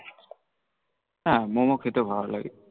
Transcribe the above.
হাঁ মোমো খেতে ভাল লাগে